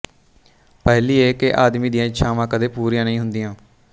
ਪਹਿਲੀ ਇਹ ਕਿ ਆਦਮੀ ਦੀਆਂ ਇੱਛਾਵਾਂ ਕਦੇ ਪੂਰੀਆਂ ਨਹੀਂ ਹੁੰਦੀਆਂ